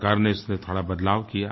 सरकार ने इसमें थोड़ा बदलाव किया